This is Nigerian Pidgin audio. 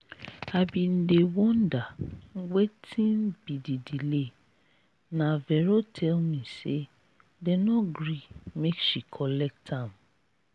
i bin dey wonder wetin be the delay na vero tell me say dem no gree make she collect am